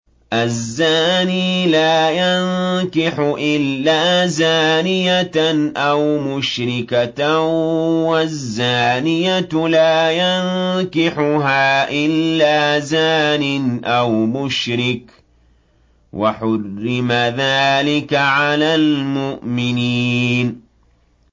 الزَّانِي لَا يَنكِحُ إِلَّا زَانِيَةً أَوْ مُشْرِكَةً وَالزَّانِيَةُ لَا يَنكِحُهَا إِلَّا زَانٍ أَوْ مُشْرِكٌ ۚ وَحُرِّمَ ذَٰلِكَ عَلَى الْمُؤْمِنِينَ